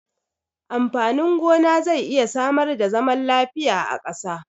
Amfanin gona zai iya samar da zaman lafiya a ƙasa.